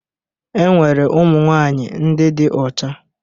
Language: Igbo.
Enwere ụmụnwaanyị ndị dị ọcha